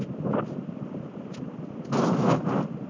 ஆஹ் ஆஹ்